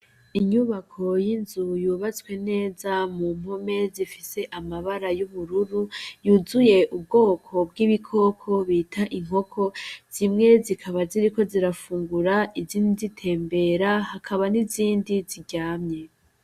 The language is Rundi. Inyubako y'inzu yubatswe neza mu mpome zifise amabara y'ubururu yuzuye ubwoko bw'ibikoko bita inkoko zimwe zikaba ziriko zirafungura izindi zitembera hakaba n'izindi ziryamye.